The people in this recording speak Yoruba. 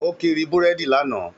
Ó kiri búrèdì lánàá